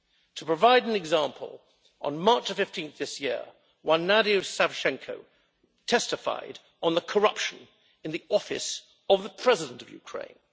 To provide an example on 15 March this year, one Nadia Savchenko testified on the corruption in the office of the President of Ukraine.